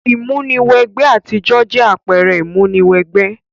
Ìmúni wẹ gbẹ ti àwùjo jẹ àpẹrẹ ìmúni wẹ gbẹ